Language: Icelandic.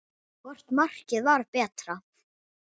Hvort markið var betra?